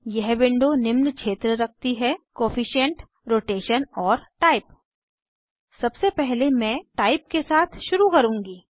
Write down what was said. यह विंडो निम्न क्षेत्र रखती है जैसे कोएफिशिएंट कोअफिशन्ट रोटेशन और टाइप सबसे पहले मैं टाइप के साथ शुरू करुँगी